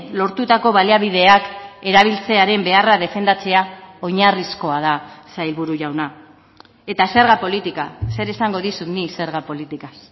lortutako baliabideak erabiltzearen beharra defendatzea oinarrizkoa da sailburu jauna eta zerga politika zer esango dizut nik zerga politikaz